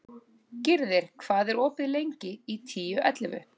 Gyrðir, hvað er opið lengi í Tíu ellefu?